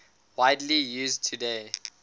widely used today